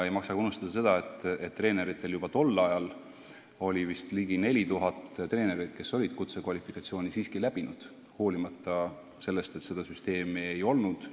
Ei maksa unustada ka seda, et juba tol ajal oli vist ligi 4000 treenerit, kes olid kutsekvalifikatsiooni läbinud, hoolimata sellest, et seda süsteemi ei olnud.